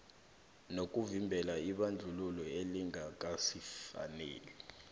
nokuvimbela ibandlululo elingakafaneli